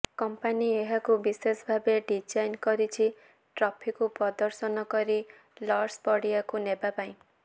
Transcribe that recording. company ଏହାକୁ ବିଶେଷ ଭାବେ ଡିଜାଇନ୍ କରିଛି ଟ୍ରଫିକୁ ପ୍ରଦର୍ଶନ କରି ଲର୍ଡସ ପଡିଆକୁ ନେବା ପାଇଁ